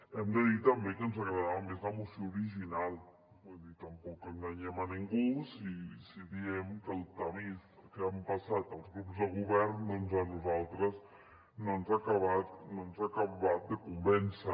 hem de dir també que ens agradava més la moció original vull dir tampoc enganyem a ningú si diem que el tamís que han passat els grups de govern doncs a nosaltres no ens ha acabat de convèncer